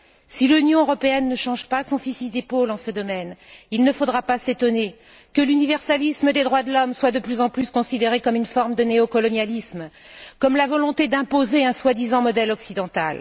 Si l'Union européenne ne change pas son fusil d'épaule en ce domaine, il ne faudra pas s'étonner que l'universalisme des droits de l'homme soit de plus en plus considéré comme une forme de néocolonialisme, comme la volonté d'imposer un soi disant modèle occidental.